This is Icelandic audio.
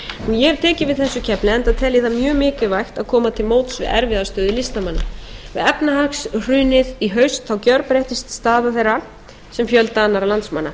það mjög mikilvægt að koma til móts við erfiða stöðu listamanna við efnahagshrunið í haust gjörbreyttist staða þeirra sem fjölda annarra landsmanna